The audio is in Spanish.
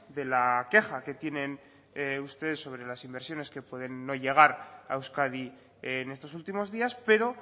de la queja que tienen ustedes sobre las inversiones que pueden no llegar a euskadi en estos últimos días pero